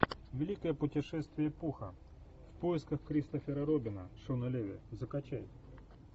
великое путешествие пуха в поисках кристофера робина шона леви закачай